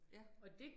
Ja